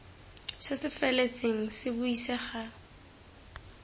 se se feletseng se buisega